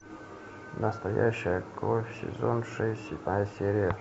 настоящая кровь сезон шесть седьмая серия